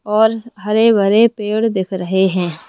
और हरे भरे पेड़ दिख रहे हैं।